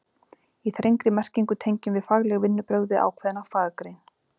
Í þrengri merkingu tengjum við fagleg vinnubrögð við ákveðna faggrein.